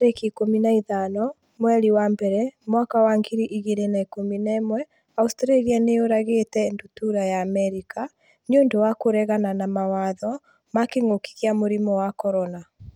tarĩki ikũmi na ithano mweri wa mbere mwaka wa ngiri igĩrĩ na ikũmi na ĩmweAustralia nĩ yũragĩte ndutura ya Amerika 'nĩ ũndũ wa kũregana mawatho ma kĩngũki kia mũrimũ wa CORONA